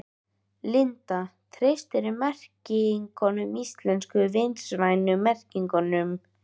Linda: Treystirðu merkingunum íslensku, vistvænu merkingunum?